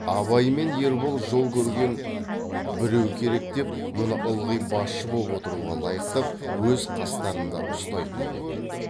абай мен ербол жол көрген біреу керек деп мұны ылғи басшы боп отыруға лайықтап өз қастарында ұстайтын боп еді